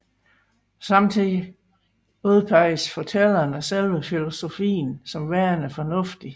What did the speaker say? Samtidigt udpeges fortælleren af selve filosofien som værende fornuftig